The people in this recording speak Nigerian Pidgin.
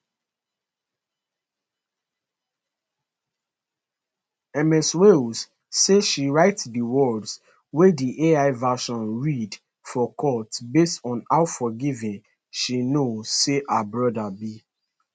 ms wales say she write di words wey di ai version read for court based on how forgiving she know say her brother be